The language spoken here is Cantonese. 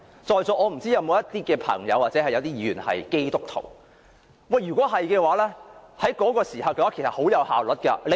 在座如有朋友或議員是基督徒的話便會知道，於那個時候，管治效率甚高。